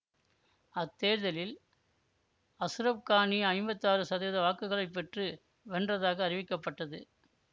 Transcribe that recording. அத்தேர்தலில் Ashraf Ghani ஐம்பத்தி ஆறு சதவீத வாக்குகளை பெற்று வென்றதாக அறிவிக்கப்பட்டது